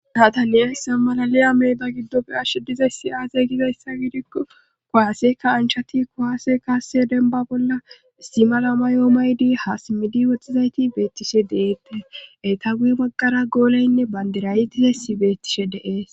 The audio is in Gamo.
nataniyassa malali ameeda giddofe ashe dizayssi aazey gizayssa wiidikko kuwaaseka anchati kuwaase kaase denba bolla istimala ma yoomaydi haasimidi wottizayti beettishe deette eta wui magara gooleynne bandirayiti hesi beettishe deees